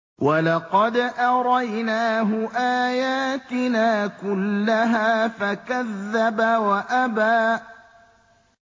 وَلَقَدْ أَرَيْنَاهُ آيَاتِنَا كُلَّهَا فَكَذَّبَ وَأَبَىٰ